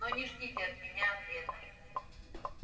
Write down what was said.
но не ждите от меня ответа